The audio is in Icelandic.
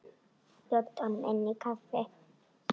Bjóddu honum inn í kaffi.